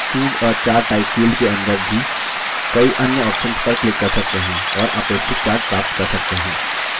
और choose a chart type field के अंदर भी कई अन्य options पर क्लिक कर सकते हैं और अपेक्षित chart प्राप्त कर सकते हैं